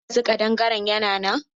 Har yanzu ƙadangare yana nan?